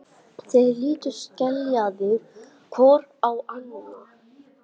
Þeir litu skelkaðir hvor á annan.